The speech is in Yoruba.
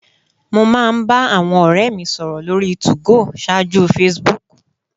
Mo máa ń bá àwọn ọ̀rẹ́ mi sọ̀rọ̀ lórí 2go ṣáájú Facebook